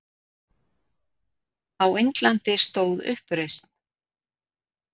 Á Indlandi stóð uppreisn